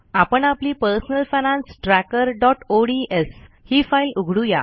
आपण आपली personal finance tracker ODS ही फाईल उघडू या